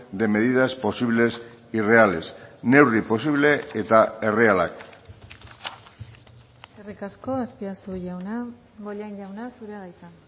de medidas posibles y reales neurri posible eta errealak eskerrik asko azpiazu jauna bollain jauna zurea da hitza